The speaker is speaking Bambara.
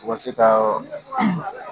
Wa se ka yɔrɔ